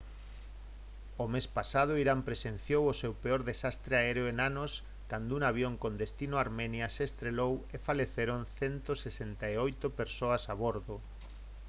o mes pasado irán presenciou o seu peor desastre aéreo en anos cando un avión con destino a armenia se estrelou e faleceron 168 persoas a bordo